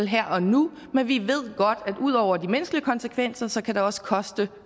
her og nu men vi ved godt at ud over de menneskelige konsekvenser kan det også koste